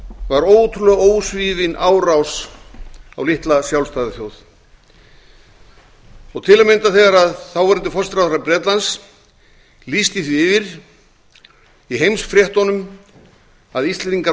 var ótrúlega ósvífin árás á litla sjálfstæða þjóð til að mynda þegar þáverandi forsætisráðherra bretlands lýsti því yfir í heimsfréttum að íslendingar